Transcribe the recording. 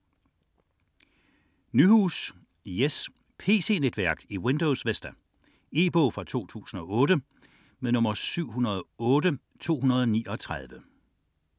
62.38 Nyhus, Jes: Pc-netværk i Windows Vista E-bog 708239 2008.